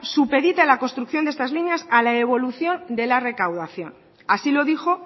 supedita la construcción de estas líneas a la evolución de la recaudación así lo dijo